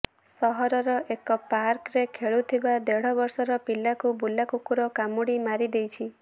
ସହରର ଏକ ପାର୍କରେ ଖେଳୁଥିବା ଦେଢ଼ ବର୍ଷର ପିଲାକୁ ବୁଲା କୁକୁର କାମୁଡ଼ି ମାରିଦେଇଛି